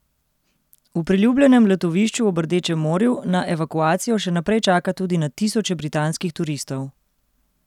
V priljubljenem letovišču ob Rdečem morju na evakuacijo še naprej čaka tudi na tisoče britanskih turistov.